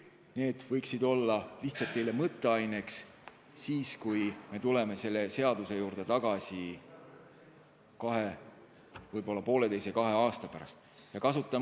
Need teemad võiksid teile lihtsalt mõtteainet pakkuda, seni kuni me selle seaduse juurde kahe, võib-olla pooleteise aasta pärast tagasi tuleme.